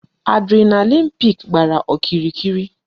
Adrenaline peak gbàrà okirikiri